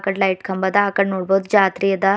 Light ಕಂಬ ಅದ ಆಕಡ್ ನೋಡ್ಬೊದ್ ಜಾತ್ರಿ ಅದ.